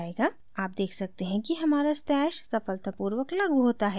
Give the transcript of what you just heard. आप देख सकते हैं कि हमारा stash सफलतापूर्वक लागू होता है